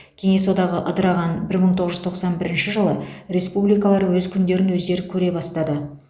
кеңес одағы ыдыраған бір мың тоғыз жүз тоқсан бірінші жылы республикалар өз күндерін өздері көре бастады